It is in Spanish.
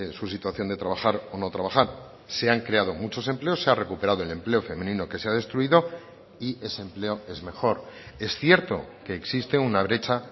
su situación de trabajar o no trabajar se han creado muchos empleos se ha recuperado el empleo femenino que se ha destruido y ese empleo es mejor es cierto que existe una brecha